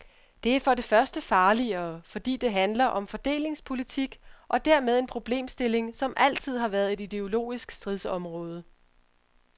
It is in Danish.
Det er for det første farligere, fordi det handler om fordelingspolitik og dermed en problemstilling, som altid har været et ideologisk stridsområde.